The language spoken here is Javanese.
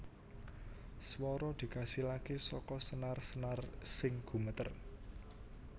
Swara dikasilaké saka senar senar sing gumeter